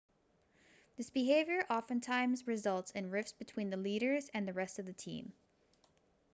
this behavior oftentimes results in rifts between the leaders and the rest of the team